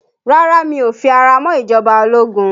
Rárá, mi ò fi ara mọ́ ìjọba ológun